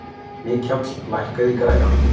Mikjáll, lækkaðu í græjunum.